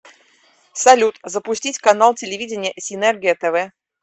салют запустить канал телевидения синергия тв